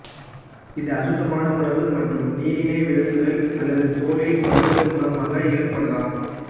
இது அசுத்தமான உணவு மற்றும் நீரினை விழுங்குதல் அல்லது தோலில் படுதல் மூலமாக ஏற்படலாம்